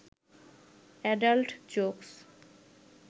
adult jokes